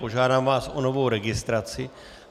Požádám vás o novou registraci.